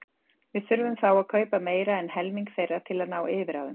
Við þyrftum þá að kaupa meira en helming þeirra til að ná yfirráðum.